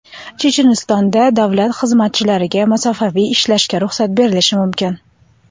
Chechenistonda davlat xizmatchilariga masofaviy ishlashga ruxsat berilishi mumkin.